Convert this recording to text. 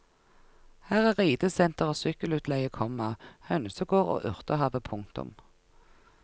Her er ridesenter og sykkelutleie, komma hønsegård og urtehave. punktum